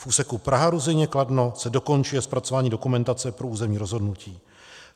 V úseku Praha-Ruzyně - Kladno se dokončuje zpracování dokumentace pro územní rozhodnutí.